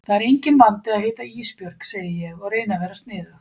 Það er enginn vandi að heita Ísbjörg, segi ég og reyni að vera sniðug.